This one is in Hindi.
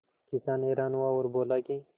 किसान हैरान हुआ और बोला कि